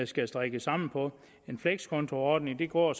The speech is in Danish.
skal strikkes sammen på en flekskontoordning går